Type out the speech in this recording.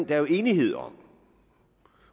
er jo enighed om